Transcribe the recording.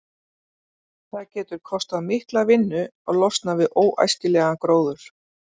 Það getur kostað mikla vinnu að losna við óæskilegan gróður.